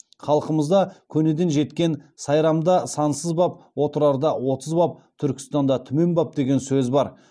халқымызда көнеден жеткен сайрамда сансыз баб отырарда отыз баб түркістанда түмен баб деген сөз бар